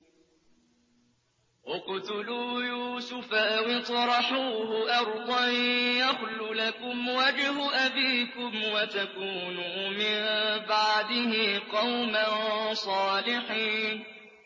اقْتُلُوا يُوسُفَ أَوِ اطْرَحُوهُ أَرْضًا يَخْلُ لَكُمْ وَجْهُ أَبِيكُمْ وَتَكُونُوا مِن بَعْدِهِ قَوْمًا صَالِحِينَ